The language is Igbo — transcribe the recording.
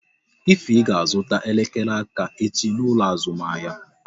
Ify ga azụta elekere aka echi n'ụlọ azụmahịa